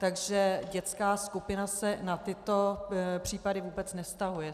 Takže dětská skupina se na tyto případy vůbec nevztahuje.